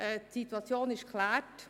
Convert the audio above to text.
Die Situation ist geklärt.